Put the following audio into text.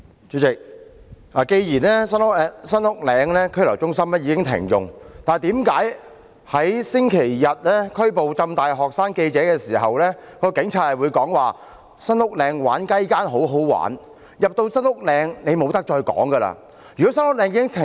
主席，既然新屋嶺拘留中心已經停用，為何一名警察在星期日拘捕香港浸會大學的學生記者時會說："新屋嶺玩'雞姦'很好玩，你進入新屋嶺後便不能再說話"。